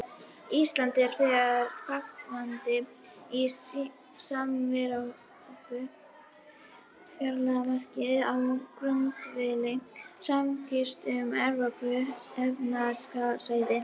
Ísland er þegar þátttakandi í samevrópskum fjármálamarkaði á grundvelli samningsins um Evrópska efnahagssvæðið.